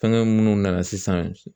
Fɛngɛ minnu nana sisan